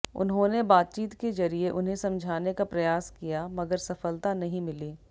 उन्होंने बातचीत के जरिए उन्हें समझाने का प्रयास किया मगर सफलता नहीं मिली